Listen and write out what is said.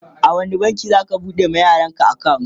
a wani banki zaka bude wa yaran ka akawunt?